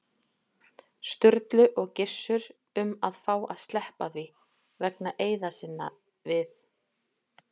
Sturlu og Gissur um að fá að sleppa því, vegna eiða sinna við